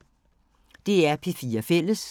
DR P4 Fælles